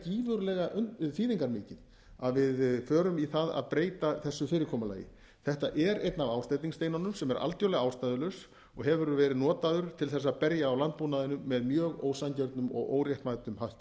gífurlega þýðingarmikið að við förum í það að breyta þessu fyrirkomulagi þetta er einn af ásteytingssteinunum sem er algjörlega ástæðulaus og hefur verið notaður til þess að berja á landbúnaðinum með mjög ósanngjörnum og óréttmætum hætti